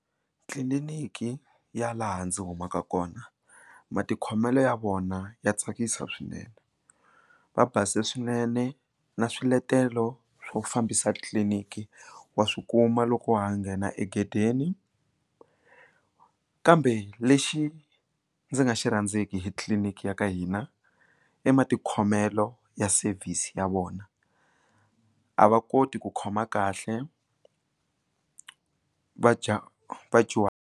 Tliliniki ya laha ndzi humaka kona matikhomelo ya vona ya tsakisa swinene va base swinene na swiletelo swo fambisa tliliniki wa swikuma loko wa ha nghena egedeni kambe lexi ndzi nga xi rhandzeki hi tliliniki ya ka hina i matikhomelo ya service ya vona a va koti ku khoma kahle va dya .